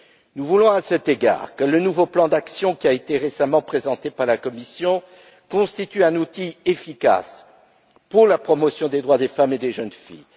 Nous voulons, à cet égard, que le nouveau plan d'action qui a été récemment présenté par la Commission constitue un outil efficace pour la promotion des droits des femmes et des jeunes filles.